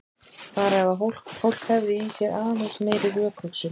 Bara ef fólk hefði í sér aðeins meiri rökhugsun.